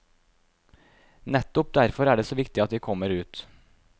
Nettopp derfor er det så viktig at de kommer ut.